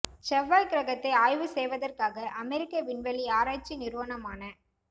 செவ்வாய் கிரகத்தை ஆய்வு செய்வதற்காக அமெரிக்க விண்வெளி ஆராய்ச்சி நிறுவனமான ந